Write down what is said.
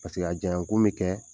paseke a janya kun bɛ kɛ